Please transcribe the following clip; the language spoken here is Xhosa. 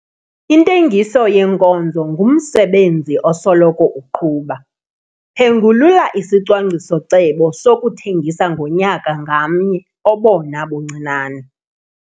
Intengiso yeenkozo ngumsebenzi osoloko uqhuba, phengulula isicwangciso-cebo sokuthengisa ngonyaka ngamnye obona buncinane.